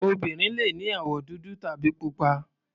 Obìnrin le ní àwọ̀ dúdú tàbí pupa.